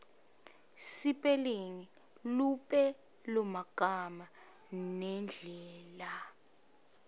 sipelingi lupelomagama nendlela